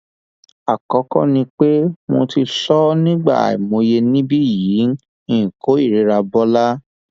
àkọkọ ni pé mo ti sọ ọ ní ìgbà àìmọye níbí yìí n kò kórìíra bọla